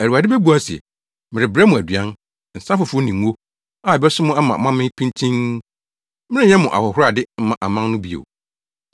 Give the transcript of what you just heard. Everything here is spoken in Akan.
Awurade bebua se, “Merebrɛ mo aduan, nsa foforo ne ngo, a ɛbɛso mo ama moamee pintinn. Merenyɛ mo ahohorade mma aman no bio.